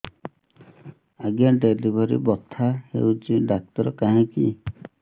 ଆଜ୍ଞା ଡେଲିଭରି ବଥା ହଉଚି ଡାକ୍ତର କାହିଁ କି